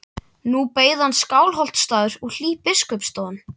Nú beið hans Skálholtsstaður og hlý biskupsstofan.